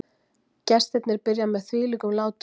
Gestirnir byrja með þvílíkum látum